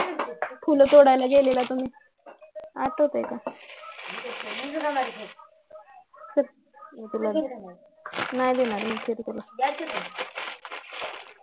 फुलं तोडायला गेल्त तुम्ही आठवतंय का नाही देणार मी खीर तुला